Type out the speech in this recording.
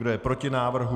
Kdo je proti návrhu?